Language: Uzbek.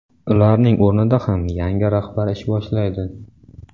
Ularning o‘rnida ham yangi rahbarlar ish boshlaydi.